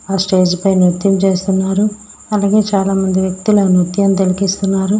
ఆ స్టేజి పై నృత్యం చేస్తున్నారు. అలాగేయ్ చాలా మంది వెక్తులు ఆ నృత్యం తిలికిస్తున్నారు.